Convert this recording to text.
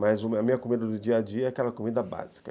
Mas a minha comida do dia a dia é aquela comida básica.